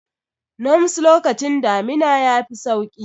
Noms lokacin damina ya fi sauƙi.